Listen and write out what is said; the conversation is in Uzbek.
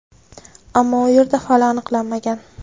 ammo u yerda hali aniqlanmagan.